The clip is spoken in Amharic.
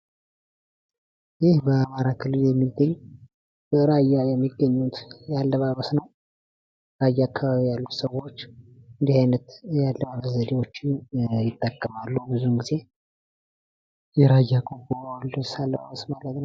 ይህ በአማራ ክልል የሚገኝ በራያ የሚገኝ የአለባበስ ነው። ራያ ያሉ ሰዎች እንዲህ አይነት ያለባበስ ዘዴዎችን ይጠቀማሉ። ብዙ ጊዜ የራያ ቆቦ ልብስ አለባበስ ነው።